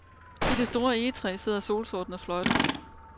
I det store egetræ sidder solsorten og fløjter.